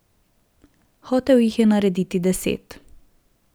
Hotel jih je narediti deset.